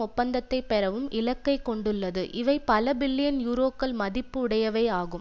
ஒப்பந்தத்தை பெறவும் இலக்கைக் கொண்டுள்ளது இவை பல பில்லியன் யூரோக்கள் மதிப்பு உடையவை ஆகும்